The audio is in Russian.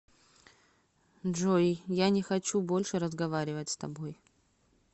джой я не хочу больше разговаривать с тобой